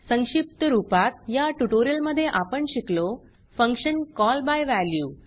संक्षिप्त रूपात या ट्यूटोरियल मध्ये आपण शिकलो फंक्शन कॉल बाय वॅल्यू